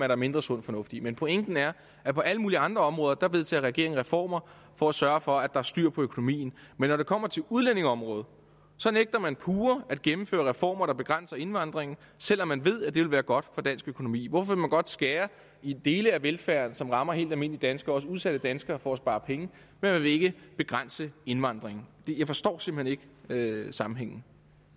der mindre sund fornuft i men pointen er at på alle mulige andre områder vedtager regeringen reformer for at sørge for at er styr på økonomien men når det kommer til udlændingeområdet så nægter man pure at gennemføre reformer der begrænser indvandringen selv om man ved at det vil være godt for dansk økonomi hvorfor vil man godt skære i dele af velfærden som rammer helt almindelige danskere også udsatte danskere for at spare penge men man vil ikke begrænse indvandringen jeg forstår simpelt hen ikke sammenhængen